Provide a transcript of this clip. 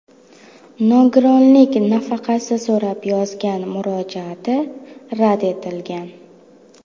Nogironlik nafaqasi so‘rab yozgan murojaati rad etilgan.